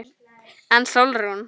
En Sólrún?